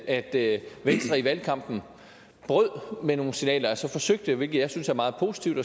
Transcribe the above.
at venstre i valgkampen brød med nogle signaler altså forsøgte at signalere hvilket jeg synes er meget positivt